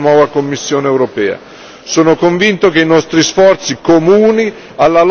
su questo tema prosegua anche con il nuovo Parlamento e con la nuova Commissione europea.